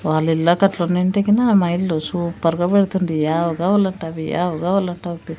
వాల్లిల్లాకట్లు ఉన్నింటే గనా మా ఇల్లు సూపర్గా పెడుతుంటి యావ్ కావాలంటే అవి యావ్ కావాలంటే అవి--